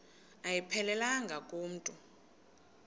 ayiphelelanga ku mntu